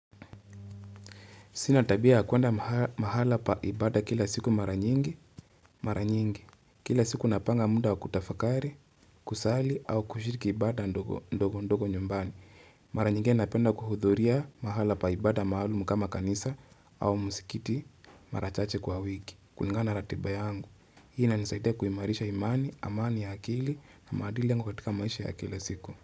Sina tabia kuenda mahala pa ibada kila siku mara nyingi, mara nyingi, kila siku napanga muda wa kutafakari, kusali au kushiriki ibada ndogo ndogo nyumbani. Mara nyingine napenda kuhudhuria mahala pa ibada maalum kama kanisa au msikiti mara chache kwa wiki, kulingana na ratiba yangu. Hii inanisaidia kuimarisha imani, amani ya akili na madili yangu katika maisha ya kila siku.